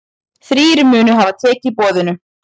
Þrír munu hafa tekið boðinu.